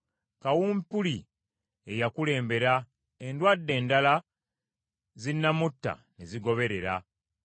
Kawumpuli ye yakulembera, Endwadde endala zinaamutta ne zigoberera.